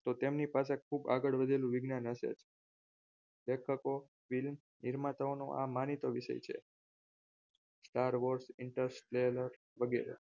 તો તેમની પાસે ખૂબ આગળ વધેલું વિજ્ઞાન હશે જ લેખકો નિર્માતાઓ નો આ માનીતો વિષય છે starboss interstella વગેરે